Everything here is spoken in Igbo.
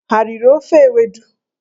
Ha riri ofe ewedu?